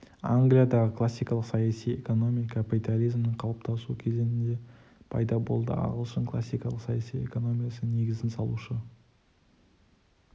англиядағы классикалық саяси экономия капитализмнің қалыптасу кезеңінде пайда болды ағылшын классикалық саяси экономиясының негізін салушы